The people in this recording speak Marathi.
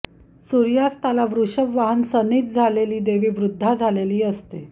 सूर्यास्ताला वृषभ वाहन सन्निध असणारी देवी वृद्धा झालेली असते